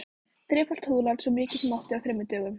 Þrefalt húðlát, svo mikið sem mátti, á þremur dögum.